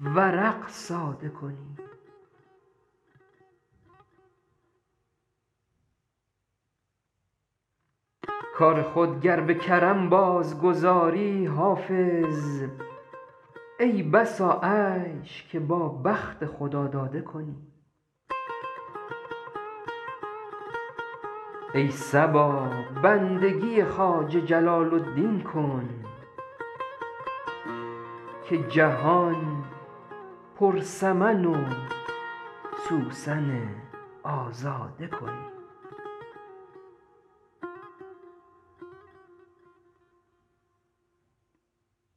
ورق ساده کنی کار خود گر به کرم بازگذاری حافظ ای بسا عیش که با بخت خداداده کنی ای صبا بندگی خواجه جلال الدین کن که جهان پر سمن و سوسن آزاده کنی